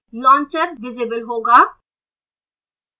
launcher visible होगा